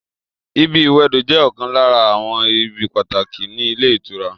ibi ìwẹdò jẹ́ ọ̀kan lára àwọn ibi pàtàkì ní ilé ìtura